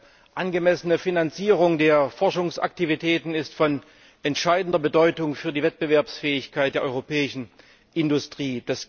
Eine angemessene Finanzierung der Forschungsaktivitäten ist von entscheidender Bedeutung für die Wettbewerbsfähigkeit der europäischen Industrie.